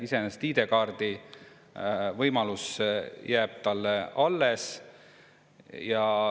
ID‑kaardi võimalus jääb alles.